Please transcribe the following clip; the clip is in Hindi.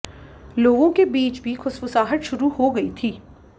लोगों के बीच भी खुसफुसाहट शुरू हो गई थी